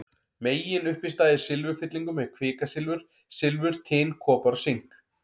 Meginuppistaða í silfurfyllingum er kvikasilfur, silfur, tin, kopar og sink.